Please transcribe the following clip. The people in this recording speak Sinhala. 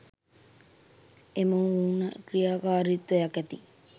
එම ඌන ක්‍රියාකාරීත්වයක් ඇති